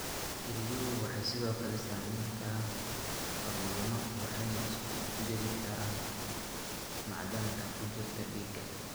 Kelyuhu waxay sidoo kale sameeyaan hormoono waxayna isku dheelitiraan macdanta ku jirta dhiigga.